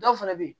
Dɔw fana bɛ yen